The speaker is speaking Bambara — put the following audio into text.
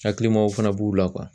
Hakilimaw fana b'u la